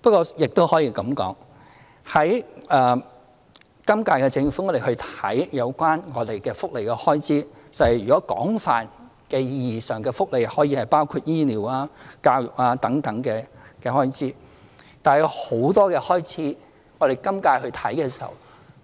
不過，亦可這樣說，今屆政府檢視有關福利的開支，在廣泛的意義上，福利可以包括醫療、教育等開支；但有很多開支，今屆政府檢視